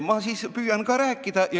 Ma siis püüan ka rääkida.